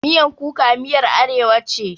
Miyan kuka miyar arewa ce.